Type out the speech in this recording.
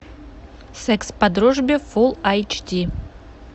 секс по дружбе фул айч ди